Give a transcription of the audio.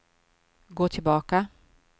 gå tillbaka